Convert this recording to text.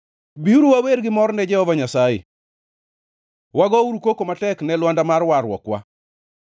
Biuru wawer gimor ne Jehova Nyasaye; wagouru koko matek ne lwanda mar warruokwa.